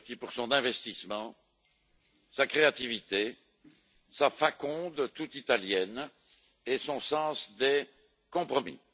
Viotti, pour son investissement, sa créativité, sa faconde toute italienne et son sens des compromis.